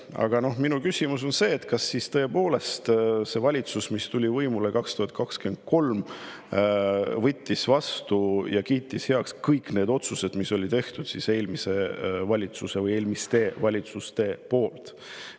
Aga minu küsimus on see, kas siis tõepoolest see valitsus, mis tuli võimule 2023, kiitis heaks kõik need otsused, mis oli tehtud eelmise valitsuse või eelmiste valitsuste poolt.